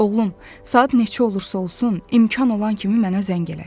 “Oğlum, saat neçə olursa olsun, imkan olan kimi mənə zəng elə.